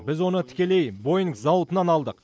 біз оны тікелей боинг зауытынан алдық